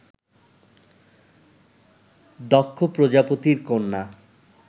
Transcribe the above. দক্ষ প্রজাপতির কন্যা